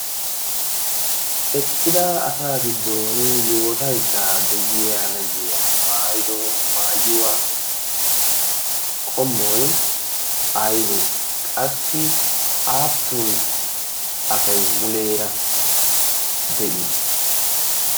eqqida asaa giddon yootaiddaa de'iya nayyiya maado maayuwaa qommoi aybee qassi aappun asay muleera de'ii?